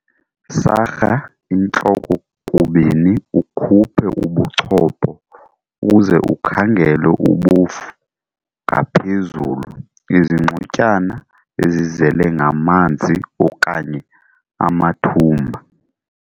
Sarha intloko kubini ukhuphe ubuchopho uze ukhangele ubofu ngaphezulu, izingxotyana ezizele ngamanzi okanye amathumba.